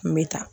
N bɛ taa